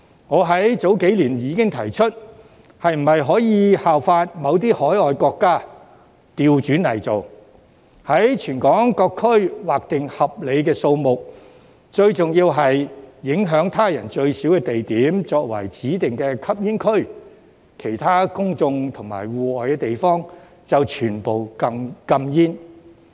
我在早幾年已經提出，是否可以效法某些海外國家，反過來做，在全港各區劃定合理數目，最重要是影響他人最少的地點作為指定吸煙區，其他公眾和戶外地方則全部禁煙。